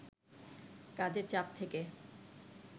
কাজের চাপ থেকে